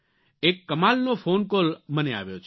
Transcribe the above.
એક કમાલનો phone call મને આવ્યો છે